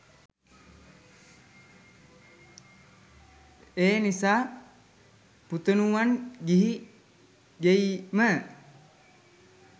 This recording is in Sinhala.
එනිසා පුතණුවන් ගිහි ගෙයිම